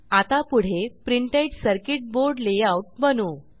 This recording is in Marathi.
आता पुढे प्रिंटेड सर्किट बोर्ड लेआउट बनवू